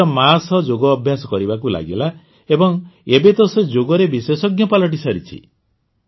ସେ ନିଜ ମାଆ ସହ ଯୋଗ ଅଭ୍ୟାସ କରିବାକୁ ଲାଗିଲା ଏବଂ ଏବେ ତ ସେ ଯୋଗରେ ବିଶେଷଜ୍ଞ ପାଲଟିସାରିଛି